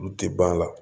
Olu tɛ ban a la